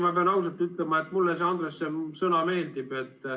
Ma pean ausalt ütlema, Andres, et mulle see sõna meeldib.